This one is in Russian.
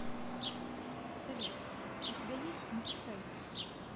салют у тебя есть не пускай его